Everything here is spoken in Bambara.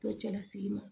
Tɔ cɛlasigi ma